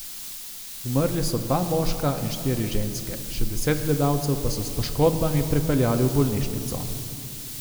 Umrli so dva moška in štiri ženske, še deset gledalcev pa so s poškodbami prepeljali v bolnišnico.